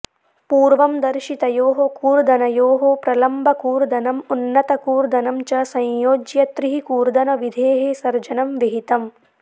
पूर्वं दर्शितयोः कूर्दनयोः प्रलम्बकूर्दनम् उन्नतकूर्दनं च संयोज्य त्रिः कूर्दनविधेः सर्जनं विहितम्